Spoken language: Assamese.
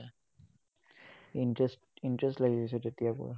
interest interest লাগি গৈছে তেতিয়াৰ পৰা।